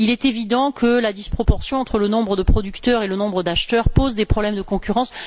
Il est évident que la disproportion entre le nombre de producteurs et le nombre d'acheteurs pose des problèmes de concurrence.